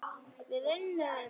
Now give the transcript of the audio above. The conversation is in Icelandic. Við unnum!